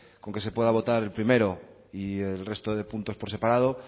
con que se pueda votar el primero y el resto de puntos por separado